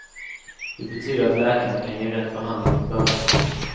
Det betyder att läkarna kan ge rätt behandling från början.